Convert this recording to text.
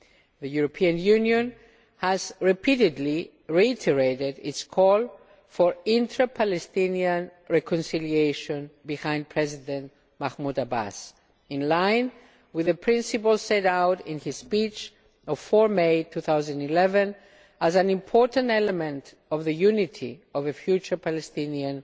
The European Union has repeatedly reiterated its call for intra Palestinian reconciliation behind President Mahmoud Abbas, in line with the principles set out in his speech of 4 May 2011, as an important element of the unity of a future Palestinian